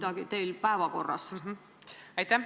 Aitäh!